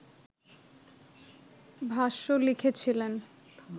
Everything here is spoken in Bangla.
ভাষ্য লিখেছিলেন